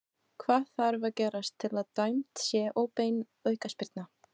Hvað þarf að gerast til að dæmd sé óbein aukaspyrna?